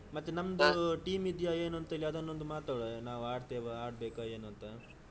ಹ್ಮ್ ಮತ್ತೆ ನಮ್ದು team ಇದೆಯಾ ಏನೋಂತು ಅದನೊಂದು ಮಾತನಾಡುವ ನಾವು ಆಡ್ತೇವ ಆಡ್ಬೇಕಾ ಏನು ಅಂತ.